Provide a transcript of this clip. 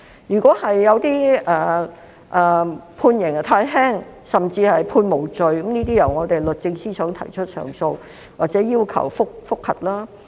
如果有一些案件判刑太輕，甚至獲判無罪，可交由我們律政司司長提出上訴或要求覆核。